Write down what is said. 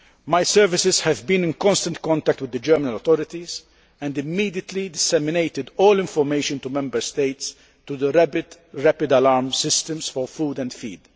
My services have been in constant contact with the German authorities and they immediately disseminated all information to Member States through the Rapid Alert System for Food and Feed.